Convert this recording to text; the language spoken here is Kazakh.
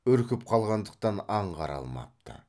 үркіп қалғандықтан аңғара алмапты